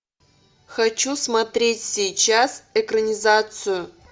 хочу смотреть сейчас экранизацию